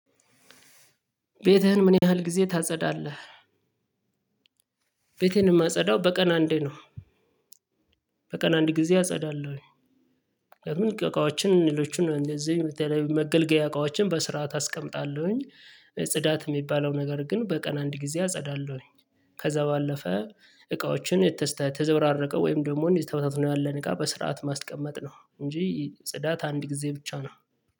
ቤትህን ምን ያህል ጊዜ ታጸዳለህ? ቤቴን የማጸዳው በቀን አንዴ ነው። በቀን አንድ ጊዜ አጸዳለሁኝ። እቃዎችን ሌሎችን እንደዚህ መገልገያ እቃዎችን በስርዓት አስቀምጣለሁኝ። ጽዳት የሚባለው ነገር ግን በቀን አንድ ጊዜ አጸዳለሁ። ከዛ ባለፈ እቃዎችን የተዘበራረቀ ወይ ደሞ ተበታትኖ ያለ እቃ በስርዓት ማስቀመጥ ነው እንጂ ጽዳት አንድ ጊዜ ብቻ ነው።